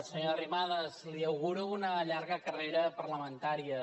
senyora arrimadas li auguro una llarga carrera parlamentària